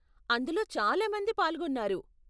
అందులో చాలా మంది పాల్గొన్నారు.